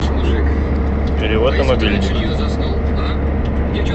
перевод на мобильник